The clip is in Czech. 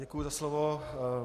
Děkuji za slovo.